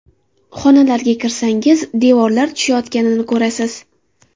Xonalarga kirsangiz, devorlar tushayotganini ko‘rasiz.